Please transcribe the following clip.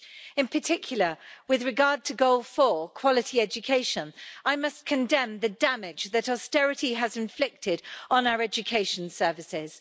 In particular, with regard to Goal 4, quality education, I must condemn the damage that austerity has inflicted on our education services.